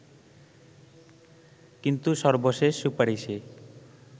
কিন্তু সর্বশেষ সুপারিশে